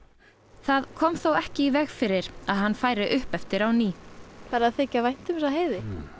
það kom þó ekki í veg fyrir að hann færi upp eftir á ný farið að þykja vænt um þessa heiði